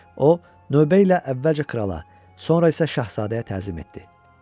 O, növbə ilə əvvəlcə krala, sonra isə şahzadəyə təzim etdi.